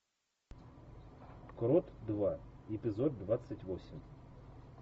крот два эпизод двадцать восемь